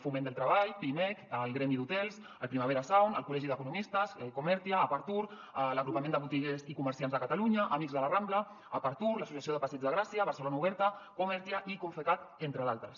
foment del treball pimec el gremi d’hotels el primavera sound el col·legi d’economistes comertia apartur l’agrupament de botiguers i comerciants de catalunya amics de la rambla apartur l’associació del passeig de gràcia barcelona oberta comertia i confecat entre d’altres